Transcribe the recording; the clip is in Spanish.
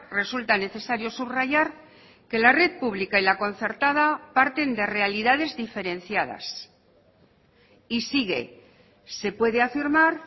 resulta necesario subrayar que la red pública y la concertada parten de realidades diferenciadas y sigue se puede afirmar